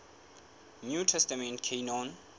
new testament canon